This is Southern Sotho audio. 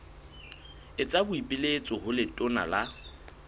etsa boipiletso ho letona la